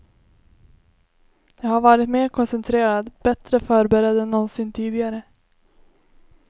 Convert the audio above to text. Jag har varit mer koncentrerad, bättre förberedd än någonsin tidigare.